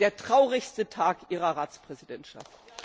Es ist der traurigste Tag Ihrer Ratspräsidentschaft.